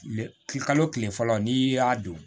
Kile kalo kile fɔlɔ n'i y'a don